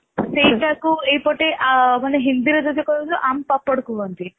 ସେଇଟା କୁ ଇଏ ପଟେ ହିନ୍ଦୀରେ ଯଦି କହିବା ଆମ୍ବ ପାପଡ଼ କୁହନ୍ତି